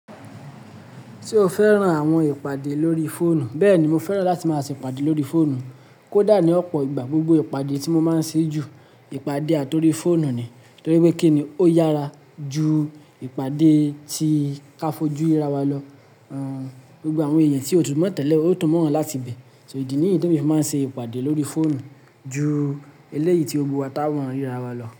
Ṣé o fẹ́ran àwọn ìpàdé lórí fóònù? Bẹ́ẹ̀ni, mo fẹ́ràn láti máa ṣe ìpàdé lórí fóònù. Kó dà ní ọ̀pọ̀ ìgbà, gbogbo ìpàdé tí mo máa ń ṣe ju, ìpàdé àti órí fóònù ni. Nítorí pé kí ni, ó yára ju ìpàdé tí káfojúríra wa lọ. Àn, gbogbo àwọn èèyàn tí ó tún mọ̀ tẹ́lẹ̀, ó tọ̀ mọ́ wọn láti ibẹ̀. So ìdí nìyí tó fi máa ń ṣe ìpàdé lórí fóònù ju eléyìí tí gbógbó wá tá wọ́n ríra wa lọ.